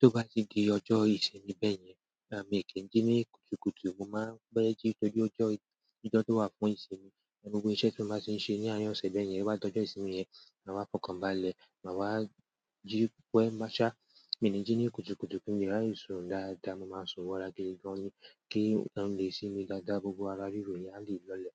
Tó bá ti di ọjọ́ ìsinmi bẹ́ẹ̀ yẹn, àh mi kí n jí ní kùtùkùtù, mo máa ń pe jí tọ́jú ọjọ́, ọjọ́ tó wà fún ìsinmi, gbogbo iṣẹ́ tó máa ṣe ń ṣe ní àárín ọ̀sẹ̀ bẹ́ẹ̀ yẹn, to bá dọ́jo ìsinmi yẹn, màá fọkàn bá lẹ̀, màá wá jí pẹ mo ṣá, mi ní jí ní kùtùkùtù kí n lè raye sùn dáadáa, mo máa ń sùn wọ́ra gidi gan ni, kí n lè sinmi dáadáa, gbogbo ara ríro yẹn a leè lọlẹ̀.